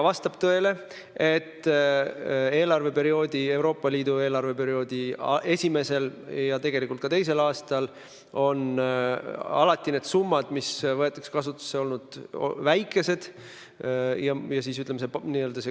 Vastab tõele, et Euroopa Liidu eelarveperioodi esimesel ja tegelikult ka teisel aastal on summad, mis kasutusele võetakse, olnud suhteliselt väikesed.